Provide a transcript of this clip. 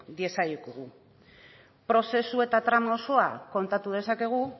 diezaiokegu prozesu eta trama osoa kontatu dezakegu